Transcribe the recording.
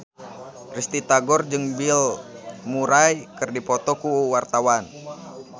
Risty Tagor jeung Bill Murray keur dipoto ku wartawan